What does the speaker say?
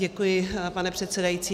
Děkuji, pane předsedající.